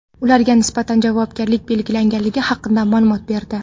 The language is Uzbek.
ularga nisbatan javobgarlik belgilangani haqida ma’lumot berdi.